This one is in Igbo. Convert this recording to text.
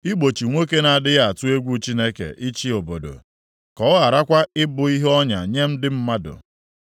igbochi nwoke na-adịghị atụ egwu Chineke ịchị obodo, ka ọ gharakwa ịbụ ihe ọnya nye ndị mmadụ.